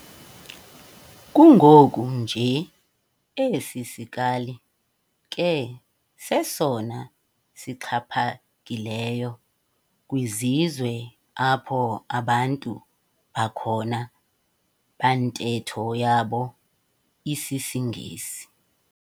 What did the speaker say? Kungoku nje esi sikali ke sesona sixhaphakileyo kwizizwe apho abantu balhona bantetho yabo isisiNgesi.